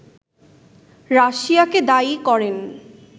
রাশিয়াকে দায়ী করেন